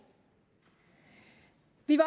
vi